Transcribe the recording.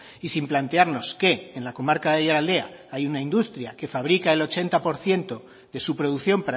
y sin plantearnos que en la comarca de aiaraldea hay una industria que fabrica el ochenta por ciento de su producción